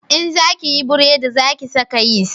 In za ki yi buredi za ki saka yisti